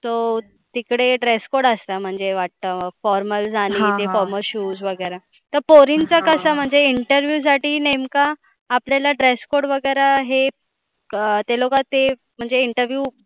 So ते तिकडे dress code असणार म्हणजे वाटतं formals आणि ते formala shoes वगैरा. त्या पोरींचा कसं हे interview साठी नेमका आपल्याला dress code वगैरा हे ते लोकं ते असे म्हणजे interview